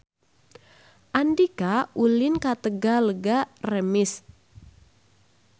Andika ulin ka Talaga Remis